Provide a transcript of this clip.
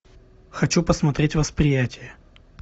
хочу посмотреть восприятие